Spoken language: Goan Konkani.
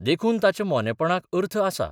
देखून ताच्या मोनेपणाक अर्थ आसा.